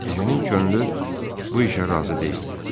Ejenin könlü bu işə razı deyildi.